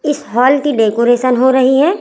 इस हॉल की डेकोरेशन हो रहीं हैं।